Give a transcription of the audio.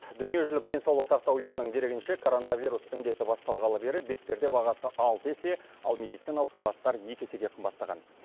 дүниежүзілік денсаулық сақтау ұйымының дерегінше коронавирус індеті басталғалы бері бетперде бағасы алты есе ал медициналық халаттар екі есеге қымбаттаған